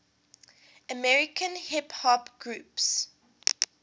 american hip hop groups